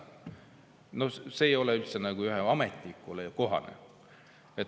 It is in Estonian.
No see ei ole nagu ühele ametnikule kohane.